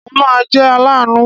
Mo máa jẹ́ aláàánú.